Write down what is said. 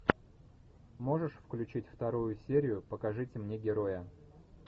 можешь включить вторую серию покажите мне героя